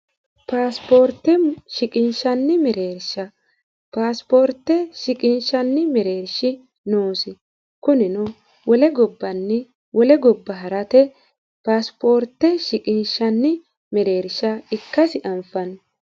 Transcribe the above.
paasipoorte shiqinshanni mereersha paasipoorte shiqinshanni mereershi noosi kunino wole gobbanni wole gobba harate paasipoorte shiqinshanni mereersha ikkasi anfanni